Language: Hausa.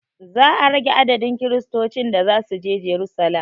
Za a rage adadin kiristocin da zasuje jerusalem